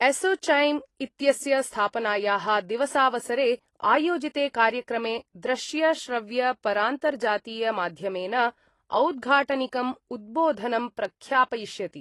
एसोचैम ' इत्यस्य स्थापनाया: दिवसावसरे आयोजिते कार्यक्रमे दृश्य-श्रव्य-परान्तर्जातीय माध्यमेन औद्घाटनिकं उद्बोधनं प्रख्यापयिष्यति।